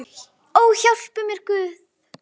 Ó, hjálpi mér Guð!